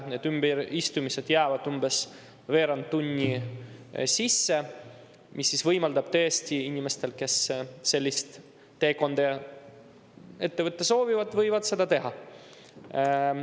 Need ümberistumised jäävad umbes veerand tunni sisse, mis võimaldab tõesti inimestel, kes sellist teekonda ette võtta soovivad, seda teha.